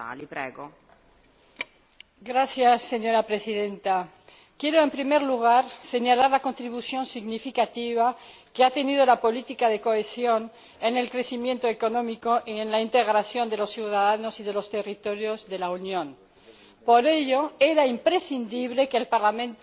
Señora Presidenta, en primer lugar quiero señalar la contribución significativa que ha aportado la política de cohesión al crecimiento económico y a la integración de los ciudadanos y de los territorios de la Unión. Por ello, era imprescindible que el Parlamento se pronunciara sobre la política que se ha de seguir